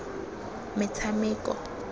metshameko